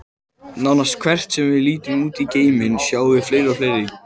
Nánast hvert sem við lítum út í geiminn, sjáum við fleiri og fleiri.